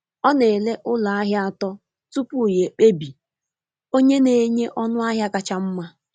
Ọ na-ele ụlọ ahịa atọ tupu ya ekpebi onye na-enye ọnụ ahịa kacha mma.